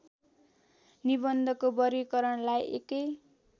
निबन्धको वर्गीकरणलाई एकै